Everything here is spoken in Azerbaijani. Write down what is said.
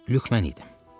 Lük mən idim.